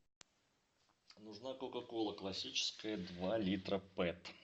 нужна кока кола классическая два литра пэт